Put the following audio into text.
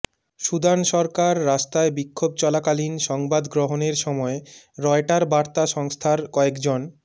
Sudan সরকার রাস্তায় বিক্ষোভ চলাকালীন সংবাদ গ্রহণের সময় রয়টার বার্তা সংস্থার কয়েকজন